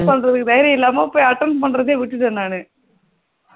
என்ன பண்ணுறது தைரியம் இல்லாம போய் attend பண்ணுறதே விட்டுட்டேன் நானு